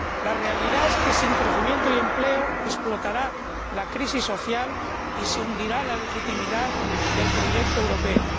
La realidad es que, sin crecimiento y empleo, explotará la crisis social y se hundirá la legitimidad del proyecto europeo.